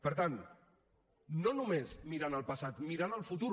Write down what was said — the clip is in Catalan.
per tant no només mirant al passat mirant al futur